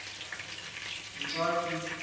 ntswaki